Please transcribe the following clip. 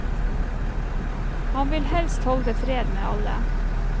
Han vil helst holde fred med alle.